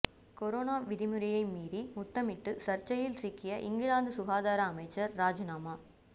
corona விதிமுறையை மீறி முத்தமிட்டு சர்ச்சையில் சிக்கிய இங்கிலாந்து சுகாதார அமைச்சர் ராஜினாமா